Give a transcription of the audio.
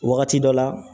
Wagati dɔ la